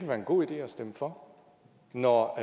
være en god idé at stemme for når